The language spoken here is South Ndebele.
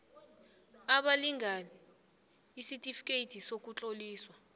abalingani isitifikeyiti sokutloliswa